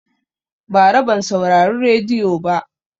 Bara ban saurari rediyo ba